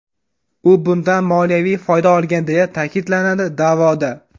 U bundan moliyaviy foyda olgan deya ta’kidlanadi da’voda.